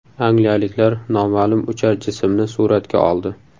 Angliyaliklar noma’lum uchar jismni suratga oldi .